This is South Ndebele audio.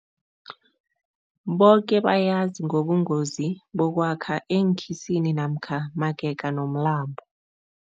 Boke bayazi ngobungozi bokwakha eenkhisini namkha magega nomlambo.